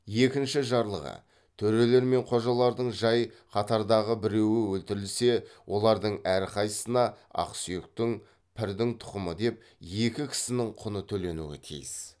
екінші жарлығы төрелер мен қожалардың жай қатардағы біреуі өлтірілсе олардың әрқайсысына екі кісінің құны төленуі тиіс